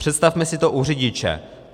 Představme si to u řidiče.